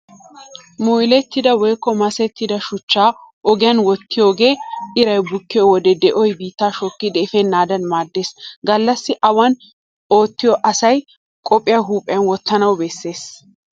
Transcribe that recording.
Molettida woykko masettida shuchchaa ogiyaan wottiyoogee iray bukkiyo wode di'oy biittaa shokkidi efennaadan maaddees. Gallassi awan oottiyaa asay qophiyaa huuphiyan wottanawu bessees.